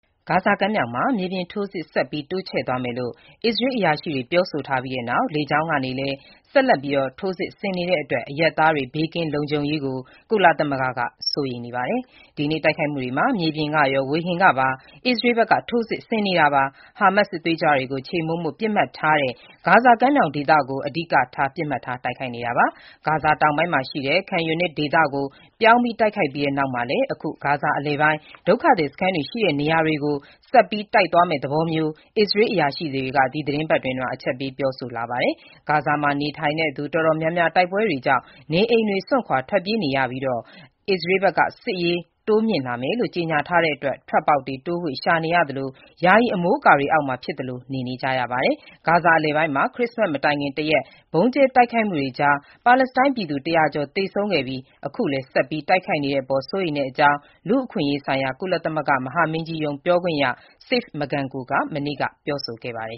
ဂါဇာကမ်းမြှောင်မှာ မြေပြင်ထိုးစစ် ဆက်ပြီး တိုးချဲ့သွားမယ်လို့ အစ္စရေးအရာရှိတွေ ပြောဆိုထားပြီးတဲ့နောက် လေကြောင်းကလည်း ဆက်လက် ထိုးစစ်ဆင်နေတာကြောင့် အရပ်သားတွေ ဘေးကင်း လုံခြုံရေးအတွက် ကုလသမဂ္ဂက စိုးရိမ်နေပါတယ်။ ဒီနေ့ တိုက်ခိုက်မှုတွေမှာ မြေပြင်ကရော ဝေဟင်ကပါ အစ္စရေးဘက်က ထိုးစစ်ဆင်တာပါ။ ဟာမတ်စ် စစ်သွေးကြွတွေကို ခြေမှုန်းဖို့ ပစ်မှတ်ထားတဲ့ ဂါဇာမြောက်ပိုင်း ဒေသကို အဓိက ပစ်မှတ်ထား တိုက်ခိုက်ခဲ့တာပါ။ ဂါဇာ တောင်ဘက်ပိုင်းမှာရှိတဲ့ Khan Younis ဒေသကို ပြောင်းတိုက်ပြီးတဲ့နောက်၊ အခု ဂါဇာ အလယ်ပိုင်း ဒုက္ခသည် စခန်းတွေ ရှိတဲ့နေရာတွေကို ဆက်ပြီး တိုက်သွားမယ့်သဘောမျိုး အစ္စရေး အရာရှိတွေ ဒီသီတင်းပတ်အတွင်းမှာ အချက်ပေးပြောဆိုလာပါတယ်။ ဂါဇာမှာနေထိုင်တဲ့ သူ တော်တော်များများ တိုက်ပွဲတွေကြောင့် နေအိမ်တွေကို စွန့်ခွာထွက်ပြေးနေရကာ၊ အစ္စရေးဘက်က ထိုးစစ် အရှိန်မြင့်မယ်လို့ ကြေညာထားတဲ့အတွက် ထွက်ပေါက်တွေ တိုးဝှေ့ ရှာနေရသလို ယာယီအမိုးအကာတွေအောက်မှာ ဖြစ်သလို ပြည့်သိပ်ကျပ်ပြီးနေ နေကြရပါတယ်။ ဂါဇာအလယ်ပိုင်းမှာ ခရစ္စမတ်မတိုင်ခင် တရက် ဗုံးကျဲတိုက်ခိုက်မှုတွေကြား ပါလက်စတိုင်း ပြည်သူ ၁၀၀ ကျော် သေဆုံးခဲ့ပြီး အခုလည်း ဆက်ပြီး တိုက်ခိုက်နေတဲ့အပေါ် စိုးရိမ်တဲ့အကြောင်း လူ့အခွင့်အရေးဆိုင်ရာ ကုလသမဂ္ဂ မဟာမင်းကြီးရုံး ပြောခွင့်ရ Seif Magango က မနေ့က ပြောဆိုခဲ့ပါတယ်။